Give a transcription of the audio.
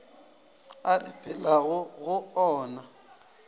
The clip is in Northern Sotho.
a re phelago go ona